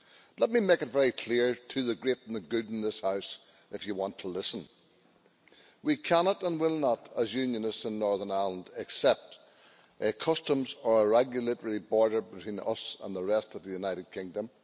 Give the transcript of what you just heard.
Let me make it very clear to the great and the good in this House if you want to listen that we cannot and will not, as Unionists in Northern Ireland, accept a customs or regulatory border between us and the rest of the United Kingdom.